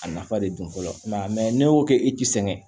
A nafa de don fɔlɔ ne y'o kɛ i ti sɛgɛn